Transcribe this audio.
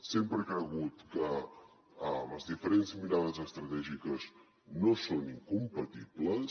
sempre he cregut que les diferents mirades estratègiques no són incompatibles